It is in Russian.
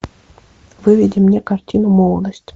выведи мне картину молодость